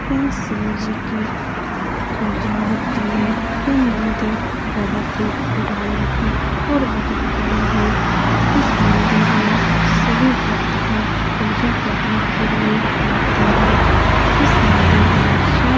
यहाँ शिव जी की पूजा होती है। यह मंदिर बहुत ही पुराना है और बहुत बड़ी है। इस मंदिर में सभी भक्तगण पूजा करने के लिए आते हैं। इस मंदिर में सो --